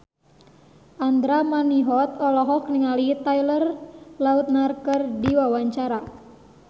Andra Manihot olohok ningali Taylor Lautner keur diwawancara